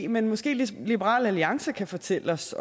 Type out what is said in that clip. men måske liberal alliance kan fortælle os